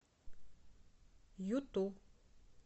ютуб